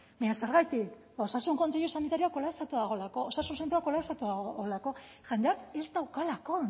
baina zergatik osasun kontseilu sanitarioa kolapsatua dagoelako osasun zentroa kolapsatua dago jendeak ez daukalako